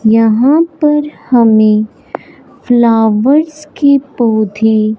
यहां पर हमें फ्लावर्स के पौधे--